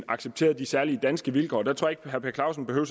accepteret de særlige danske vilkår vil tror at herre per clausen behøver